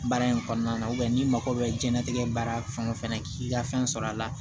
Baara in kɔnɔna na n'i mago bɛ jiyɛnlatigɛ baara fɛn o fɛn k'i ka fɛn sɔrɔ a la